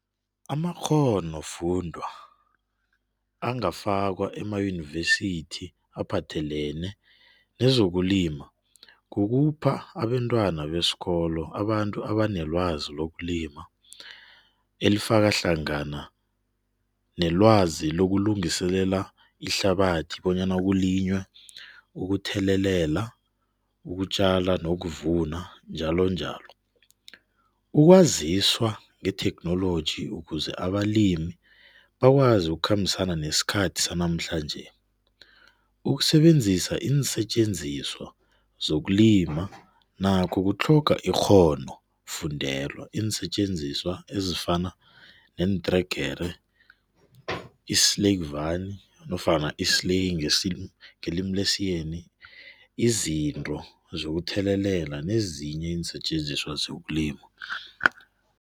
Amakghonofundwa angafakwa ama-univesithi aphathelene nezokulima kukhupha abentwana besikolo abantu abanelwazi lokulima elifaka hlangana nelwazi lokungiselela ihlabathi bonyana kulinywe, ukuthelelela, ukutjala nokuvuna njalo njalo. Ukwaziswa ngetheknoloji ukuze balimi bakwazi ukukhambisana nesikhathi sanamhlanje. Ukusebenzisa iinsetjenziswa zokuluma nakho kutlhoga ikghonofundelwa. Iinsetjenziswa ezifana nofana isleyi ngelimi lesiyeni. Izinto zokuthelelela nezinye iinsetjenziswa zokulima.